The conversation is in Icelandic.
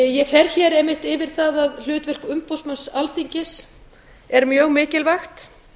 ég fer hér einmitt yfir það að hlutverk umboðsmanns alþingis er mjög mikilvægt